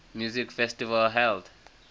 music festival held